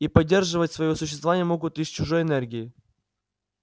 и поддерживать своё существование могут лишь чужой энергией